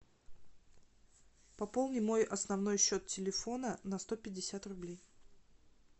пополни мой основной счет телефона на сто пятьдесят рублей